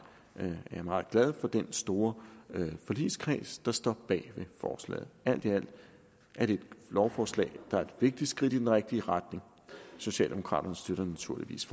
at jeg er meget glad for den store forligskreds der står bag forslaget alt i alt er det et lovforslag der er et vigtigt skridt i den rigtige retning socialdemokraterne støtter naturligvis